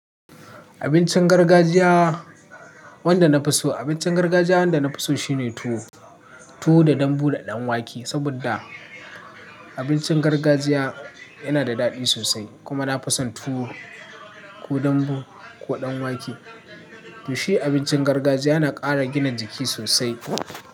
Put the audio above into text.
Abincin gargajiya wanda na fi so, abincin gargajiya wanda na fi so shine tuwo, tuwo da dambu da ɗan wake. Saboda abincin gargajiya yana da daɗi sosai kuma na fason tuwo ko dambu ko ɗan wake. To shi abincin gargajiya yana ƙara gina jiki sosai.